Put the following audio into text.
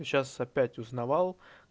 сейчас опять узнавал